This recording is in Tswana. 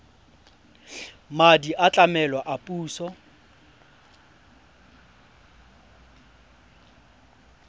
madi a tlamelo a puso